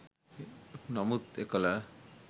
නමුත් එකල